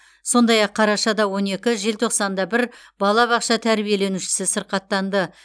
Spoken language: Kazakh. сондай ақ қарашада он екі желтоқсанда бір балабақша тәрбиеленушісі сырқаттанды